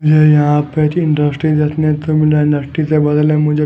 यहां पे एक इंडस्ट्री देखने को मिल रहा इंडस्ट्री के बगल में मुझे--